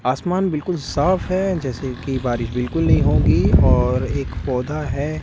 आसमान बिल्कुल साफ है जैसे कि बारिश बिल्कुल नहीं होगी और एक पौधा है।